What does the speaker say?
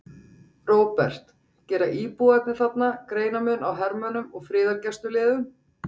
Róbert: Gera íbúarnir þarna greinarmun á hermönnum og friðargæsluliðum?